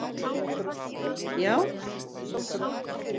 Já?